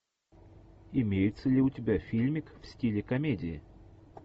имеется ли у тебя фильмик в стиле комедия